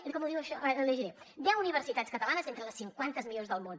com ho diu això l’hi llegiré deu universitats catalanes entre les cinquanta millors del món